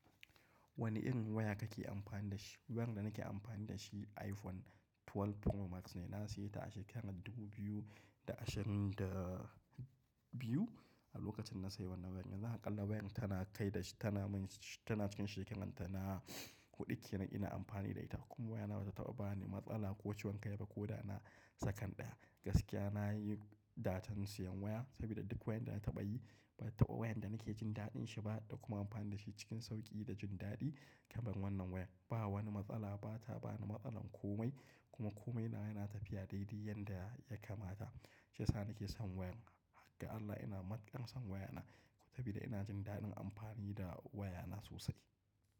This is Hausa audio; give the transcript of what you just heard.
Wani irin waya ka ke amfani da shi? Wayar da nake amfani da shi iPhone 12 Pro Max ne. Na siye ta a shekarar Dubu Biyu da Ashirin da Biyu(2022). A lokacin na sayi wannan wayar, yanzu a ƙalla wayar tana kai da shi, tana mai shi, tana cikin shekaranta, na huɗu kenan ina amfani da ita. Kuma wayana bata taɓa bani matsala ko ciwon kai ba ko da na sakan ɗaya. Gaskiya nayi dacen siyan waya saboda duk wayan da na taɓa yi, ban taɓa wayan da nake jin daɗin shi ba da kuma amfani da shi cikin sauƙi da jin daɗi kamar wannan wayar. Ba wani matsala, ba ta bani matsalar komai. Kuma komai nawa yana tafiya dai-dai yanda ya kamata. Shiyasa nake son wayar. Har ga Allah ina matukar son wayar nan saboda ina jin daɗin amfani da wayana sosai.